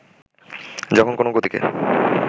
যখন কোনো গতিকে